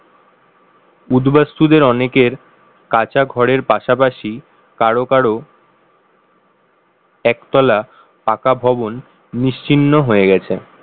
উদ্বাস্যদের অনেকের কাচা ঘরের পাশাপাশি কারো কারো একতলা পাকা ভবন নিশ্চিহ্ন হয়ে গেছে। ।